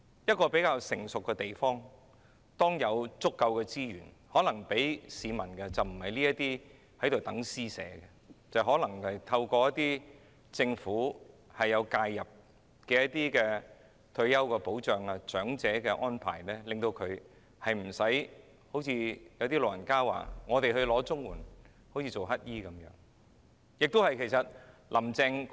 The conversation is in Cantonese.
一個發展得比較成熟的地方，在有足夠資源時並不會向市民作出這種施捨，而可能會透過政府介入的退休保障及安老措施為市民作出安排，令長者不會產生領綜援有如乞食的感覺。